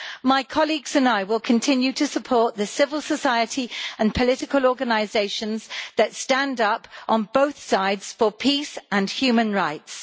My colleagues and I will continue to support the civil society and political organisations that stand up on both sides for peace and human rights.